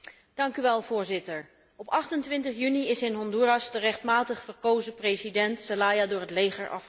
Voorzitter, op 28 juni is in Honduras de rechtmatig verkozen president Zelaya door het leger afgezet.